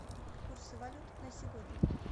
курсы валют на сегодня